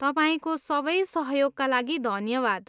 तपाईँको सबै सहयोगका लागि धन्यवाद।